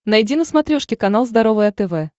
найди на смотрешке канал здоровое тв